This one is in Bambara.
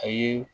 A ye